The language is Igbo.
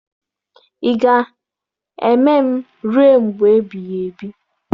Ị ga-eme m ruo mgbe ebighị ebi?